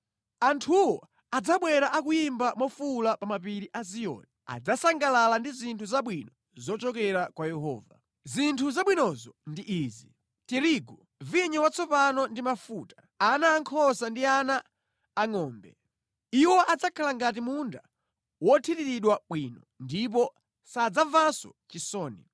Anthuwo adzabwera akuyimba mofuwula pa mapiri a Ziyoni; adzasangalala ndi zinthu zabwino zochokera kwa Yehova. Zinthu zabwinozo ndi izi: tirigu, vinyo watsopano ndi mafuta, ana ankhosa ndi ana angʼombe. Iwo adzakhala ngati munda wothiriridwa bwino, ndipo sadzamvanso chisoni.